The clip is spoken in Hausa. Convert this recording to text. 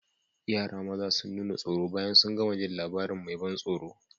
Yara maza sun nuna tsoro bayan sun gama jin labarin mai ban tsoro.